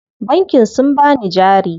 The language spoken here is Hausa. Bankin sun bani jari.